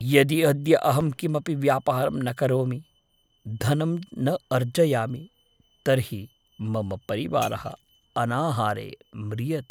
यदि अद्य अहं किमपि व्यापारं न करोमि, धनं न अर्जयामि, तर्हि मम परिवारः अनाहारे म्रियते।